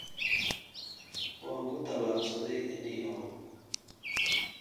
Waan ku tallaabsaday ninyahow